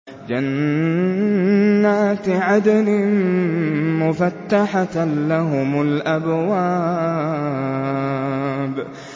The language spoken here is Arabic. جَنَّاتِ عَدْنٍ مُّفَتَّحَةً لَّهُمُ الْأَبْوَابُ